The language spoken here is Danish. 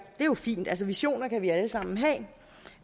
det er jo fint altså visioner kan vi alle sammen have